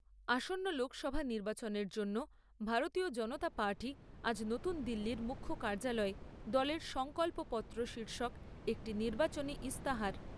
আসন্ন লোকসভা নির্বাচনের জন্য ভারতীয় জনতা পার্টি আজ নতুন দিল্লীর মুখ্য কার্যালয়ে দলের সংকল্পপত্র শীর্ষক একটি নির্বাচনী ইস্তাহার